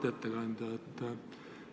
Auväärt ettekandja!